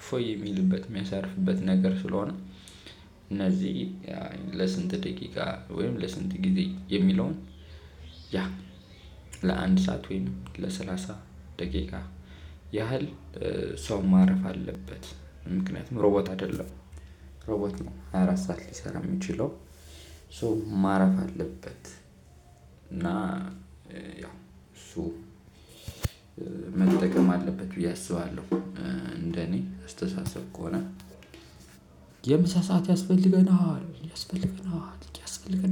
እፎይ የሚልበት የሚያሰርፍበት ነገር ስለሆነ። እነዚህ ለስንት ደቂቃ ወይም ለስንት ጊዜ የሚለውን? ያ ለአንድ ሰዓት ወይም ለሰላሳ ደቂቃ ያህል ሰው ማረፍ አለበት። ምክንያቱም ሮቦት አይደለም። ሮቦት ነው ሃያ አራት ሰዓት ሊሰራ የሚችለው። ሶ ማረፍ አለበት እና ያው ሶ መጠቀም አለበት ብዬ አስባለሁ። እንደኔ አስተሳሰብ ከሆነ። የምሳ ሰዓት ያስፈልገናል ያስፈልገናል ያስፈልገናል